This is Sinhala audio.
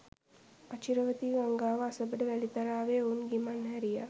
අචිරවතී ගංගාව අසබඩ වැලිතලාවේ ඔවුන් ගිමන් හැරියා